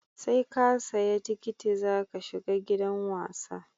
Seka siya tikiti zaka shiga gidan wasa